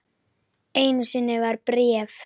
Einu sinni var bréf.